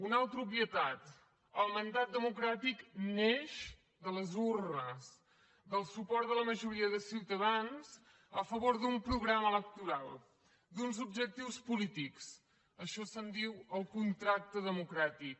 una altra obvietat el mandat democràtic neix de les urnes del suport de la majoria de ciutadans a favor d’un programa electoral d’uns objectius polítics això se’n diu el contracte democràtic